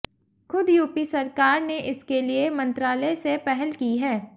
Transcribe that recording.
खुद यूपी सरकार ने इसके लिए मंत्रालय से पहल की है